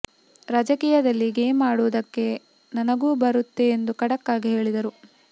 ರಾಜಕೀಯದಲ್ಲಿ ಗೇಮ್ ಅಡುವುದಕ್ಕೆ ನನಗೂ ಬರುತ್ತೆ ಎಂದು ಖಡಕ್ ಆಗಿ ಹೇಳಿದರು